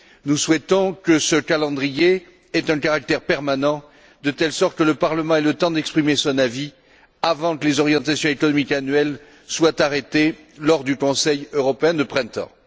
Nous souhaitons que ce calendrier ait un caractère permanent, de telle sorte que le Parlement ait le temps d'exprimer son avis avant que les orientations économiques annuelles soient arrêtées lors du Conseil européen de printemps.